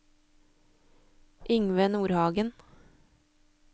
Yngve Nordhagen